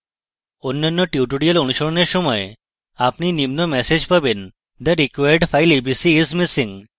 অন্যান্য টিউটোরিয়ালঅনুশীলনের সময় আপনি নিম্ন ম্যাসেজ পাবেন: the required file abc is missing